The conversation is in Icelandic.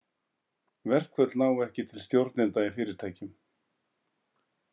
Verkföll ná ekki til stjórnenda í fyrirtækjum.